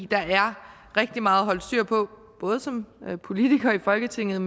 der er rigtig meget at holde styr på både som politiker i folketinget